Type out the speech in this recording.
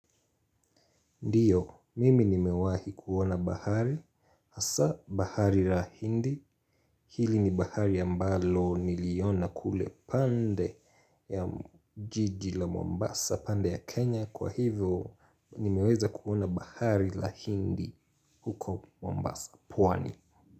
Ndiyo, mimi nimewahi kuona bahari. Asa bahari ra hindi. Hili ni bahari ambalo niliona kule pande ya jiji la Mombasa, pande ya Kenya. Kwa hivyo, nimeweza kuona bahari la hindi huko Mombasa. Pwani.